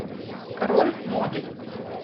король моды